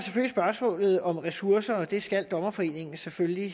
spørgsmålet om ressourcer og det skal dommerforeningen selvfølgelig